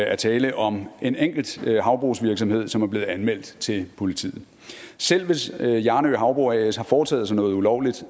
er tale om en enkelt havbrugsvirksomhed som er blevet anmeldt til politiet selv hvis hjarnø havbrug as har foretaget sig noget ulovligt